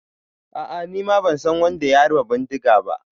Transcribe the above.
A'a, nima ban san wadda ya harba bindiga ba.